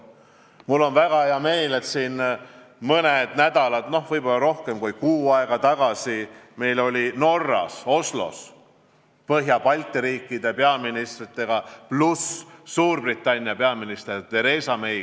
Mul on väga hea meel, et mõned nädalad või vahest veidi rohkem kui kuu aega tagasi oli Norras Oslos Põhjamaade ja Balti riikide peaministrite kohtumine, pluss Suurbritannia peaminister Theresa May.